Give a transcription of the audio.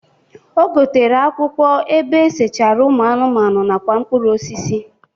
O gotere akwụkwọ ebe esechara ụmụ anụmanụ nakwa mpụrụ osisi.